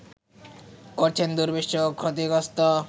করেছে দুর্বিষহ ও ক্ষতিগ্রস্ত